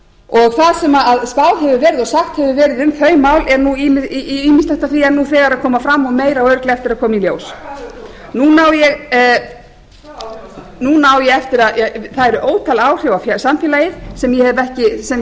og það sem skráð hefur verið og sagt hefur verið um þau mál ýmislegt af því er nú þegar að koma fram og meira á örugglega eftir að koma í ljós hvaða áhrif á samfélagið það eru ótal áhrif á samfélagið sem ég hef ekki hvaða neikvæðu